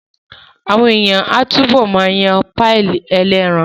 Àwọn èèyàn á túbọ̀ ma yan páyì ẹlẹ́ran